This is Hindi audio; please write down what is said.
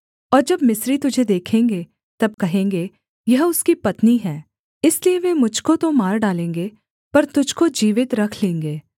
और जब मिस्री तुझे देखेंगे तब कहेंगे यह उसकी पत्नी है इसलिए वे मुझ को तो मार डालेंगे पर तुझको जीवित रख लेंगे